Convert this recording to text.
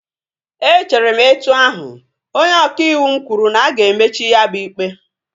Echere m etu ahu, onye ọka ịwụ m kwuru na-aga emechi ya bụ ikpe